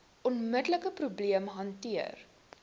onmiddelike probleem hanteer